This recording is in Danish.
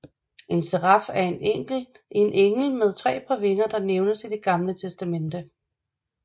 En seraf er en engel med tre par vinger der nævnes i Det gamle testamente